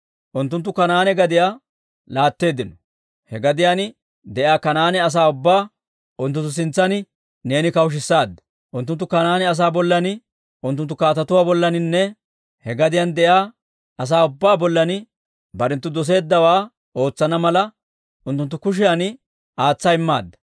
Unttunttu Kanaane gadiyaa laatteeddino; he gadiyaan de'iyaa Kanaane asaa ubbaa unttunttu sintsan neeni kawushshaadda. Unttunttu Kanaane asaa bollan, unttunttu kaatetuwaa bollaaninne he gadiyaan de'iyaa asaa ubbaa bollan barenttu doseeddawaa ootsana mala, unttunttu kushiyan aatsa immaadda.